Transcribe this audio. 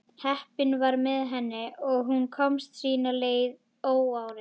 Heppnin var með henni og hún komst sína leið óáreitt.